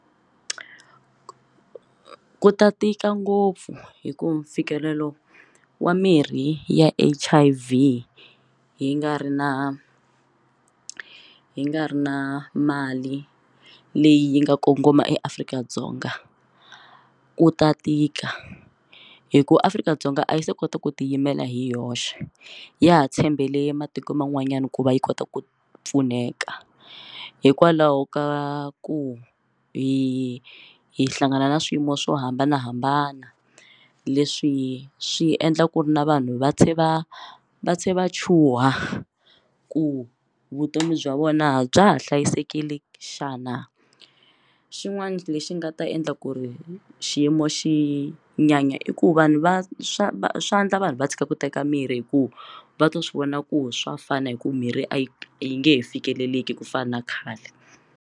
Ku ta tika ngopfu hi ku mfikelelo wa mirhi ya H_I_V yi nga ri na hi nga ri na mali leyi yi nga kongoma eAfrika-Dzonga u ta tika hi ku Afrika-Dzonga a yi se kota ku ti yimela hi yoxe ya ha tshembele matiko man'wanyana ku va yi kota ku pfuneka hikwalaho ka ku hi hi hlangana na swiyimo swo hambanahambana leswi swi endla ku ri na vanhu va tlhe va tlhe va chuha ku vutomi bya vona bya ha hlayisekile xana xin'wana lexi nga ta endla ku ri xiyimo xi nyanya i ku vanhu va swa swandla vanhu va tshika ku teka mirhi hi ku va twa swi vona ku swa fana hi ku mirhi a yi yi nge he fikeleliki ku fana na khale.